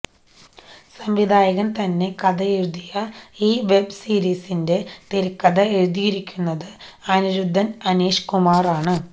സംവിധായകന് തന്നെ കഥയെഴുതിയ ഈ വെബ്സീരിസിന്റെ തിരക്കഥ എഴുതിയിരിക്കുന്നത് അനിരുദ്ധന് അനീഷ് കുമാറാണ്